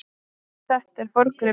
Þetta er forngripur.